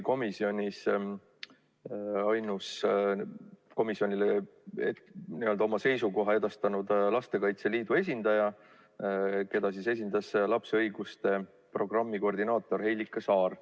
Komisjonile edastas ainsana oma seisukoha Lastekaitse Liit, keda esindas 3. mail komisjoni istungil lapse õiguste programmi koordinaator Helika Saar.